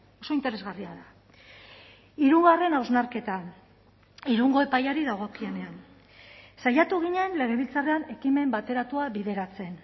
oso interesgarria da hirugarren hausnarketa irungo epaiari dagokienean saiatu ginen legebiltzarrean ekimen bateratua bideratzen